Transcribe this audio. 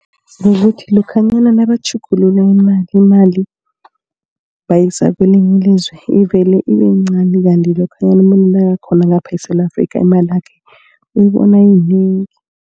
Kukuthi lokhanyana nabatjhugulula imali, bayise kwelinye ilizwe. Ivele ibe yincani kandi lokhanyana umuntu nakakhona ngapha eSewula Afrika imali yakhe uyibona yinengi.